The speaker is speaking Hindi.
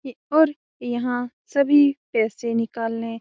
ये और यहाँ सभी पैसे निकालने --